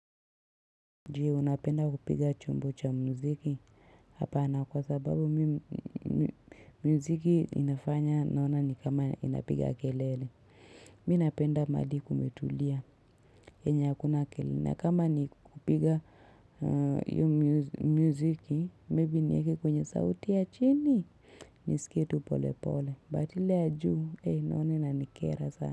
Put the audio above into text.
Jee unapenda kupiga chumbo cha muziki hapana kwa sababu mi muziki inafanya naona ni kama inapiga kelele. Mi napenda madi kumetulia yenye hakuna kelele na kama ni kupiga hiyo muziki maybe niweke kwenye sauti ya chini nisikie tu pole pole but ile ya juu naona ina nikera sana.